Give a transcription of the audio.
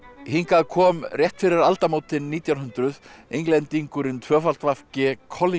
hingað kom rétt fyrir aldamótin nítján hundruð Englendingurinn w g